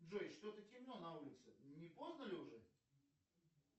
джой что то темно на улице не поздно ли уже